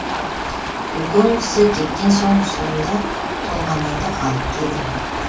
үлкен кісі кеткен соң сонда толғанайды алып келдім